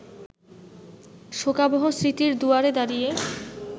শোকাবহ স্মৃতির দুয়ারে দাঁড়িয়ে